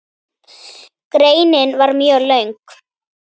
Greinin var mjög löng.